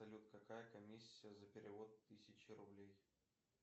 салют какая комиссия за перевод тысячи рублей